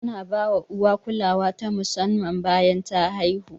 Ana bawa uwa kulawa ta musamman bayan ta haihu.